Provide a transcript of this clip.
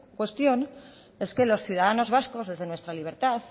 cuestión es que los ciudadanos vasco desde nuestra libertad